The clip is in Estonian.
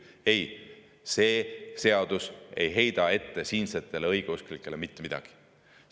Ei, see seadus ei heida siinsetele õigeusklikele mitte midagi ette.